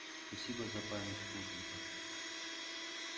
спасибо за память плужников